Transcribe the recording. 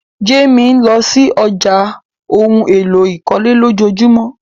Jamie lọ sí ọ̀já ohun èlò ìkọ́lé lọjọjumọ.